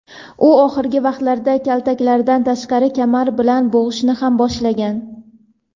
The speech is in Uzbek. u oxirgi vaqtlarda kaltaklashlardan tashqari kamar bilan bo‘g‘ishni ham boshlagan.